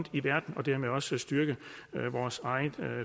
i verden og dermed også styrke vores egen